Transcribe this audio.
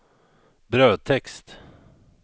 brödtext